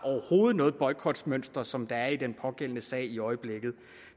noget boykotmønster som der er i den pågældende sag i øjeblikket